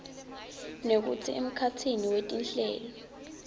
nekutsi emkhatsini wetinhlelo